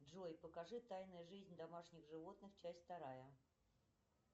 джой покажи тайная жизнь домашних животных часть вторая